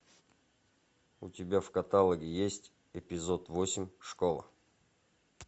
у тебя в каталоге есть эпизод восемь школа